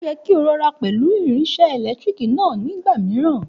Òye kí o rọra pẹ̀lú irinsé èlétírìkì náà ní ìgbà mìíràn